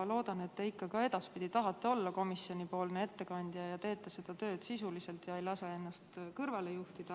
Loodan, et te ikka tahate olla komisjoni ettekandja ja teete seda tööd sisuliselt ega lase ennast kõrvale juhtida.